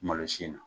Malosi in na